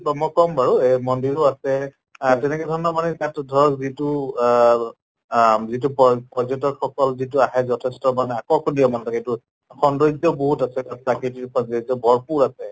ম মই কম বাৰু এহ মন্দিৰো আছে আহ তেনেকে ধৰণৰ মানে তাততো ধৰক যিটো আহ আহ যিটো পৰ পৰ্যটক সকল যিটো আহে যথেষ্ট মানে আকৰ্ষণীয় মানে সেইটো, সৌন্দৰ্য্য় বহুত আছে তাত প্ৰাকৃতিক সৌন্দৰ্য্য় বৰফো আছে